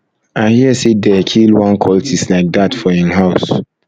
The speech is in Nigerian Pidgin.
i hear say dey kill one cultist like dat for him house